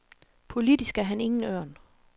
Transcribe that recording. Politisk er han ingen ørn.